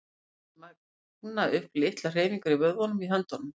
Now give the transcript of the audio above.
Þeir magna upp litlar hreyfingar í vöðvunum í höndunum.